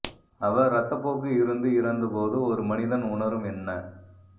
அவர் இரத்தப்போக்கு இருந்து இறந்த போது ஒரு மனிதன் உணரும் என்ன